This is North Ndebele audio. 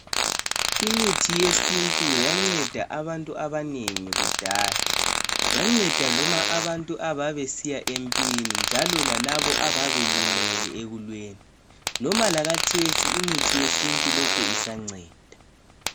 Imithi yesintu yanceda abantu abanengi kudala ,yanceda noma abantu ababesiya empini .Njalo lalabo ababelimele ekulweni .Loba lakhathesi imithi yesintu lokhe isanceda.